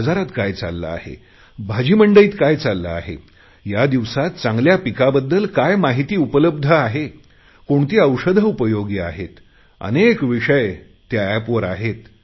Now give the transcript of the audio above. बाजारात काय चालले आहे भाजी मंडईत काय घडते आहे या दिवसात चांगल्या पिकाबद्दल काय माहिती उपलब्ध आहे कोणती औषधे उपयोगी आहेत अनेक विषय या एपवर आहेत